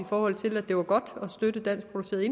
forhold til at det var godt at støtte danskproducerede